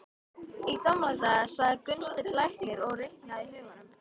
Í gamla daga, sagði Gunnsteinn læknir og reiknaði í huganum.